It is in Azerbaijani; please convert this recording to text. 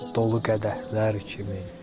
Dolu qədəhlər kimi.